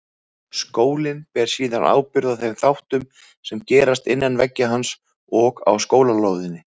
Skólinn ber síðan ábyrgð á þeim þáttum sem gerast innan veggja hans og á skólalóðinni.